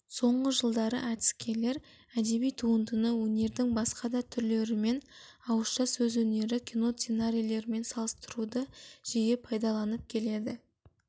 соңғы жылдары әдіскерлер әдеби туындыны өнердің басқа да түрлерімен ауыша сөз өнері кино сценарийлермен салыстыруды жиі пайдаланып келеді